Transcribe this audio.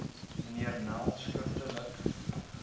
mnr nel skriftelik